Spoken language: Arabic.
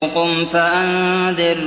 قُمْ فَأَنذِرْ